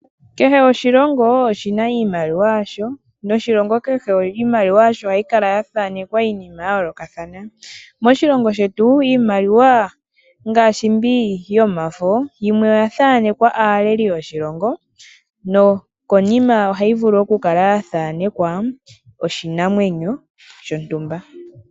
Kehe oshilongo oshi na iimaliwwa ya sho, noshilongo kehe iimaliwa yasho ohayi kala ya thanekwa iinima ya yoolokathana. Moshilongo shetu iimaliwa ngaashi mbi yomafo, yimwe oya thaanekwa aaleli yoshilongo no konima ohayi vulu okukala ya thanekwa oshinamwenyo shontumba.